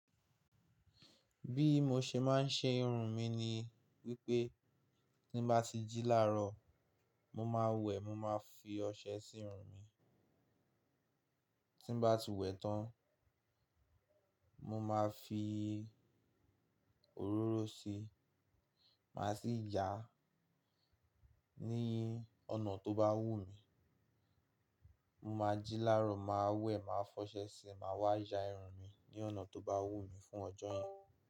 Bí mo ṣe máa ń ṣe irun mi ni wípé tí ń bá ti jí lárọ̀, mo máa wẹ̀, mo máa fi ọṣẹ sí irun mi. Tí ń bá ti wẹ̀ tán, mo máa fi òróró si, màá sí yáá ní ọ̀nà tó bá wù mí. Mo máa jí lárọ̀, màá wẹ̀, màá fọṣẹ síi, màá wá ya irun mi ní ọ̀nà tó bá wù mí fún ọjọ́ yẹn.